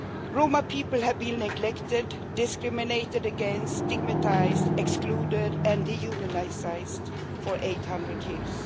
Roma people have been neglected, discriminated against, stigmatised, excluded and dehumanised for 800 years.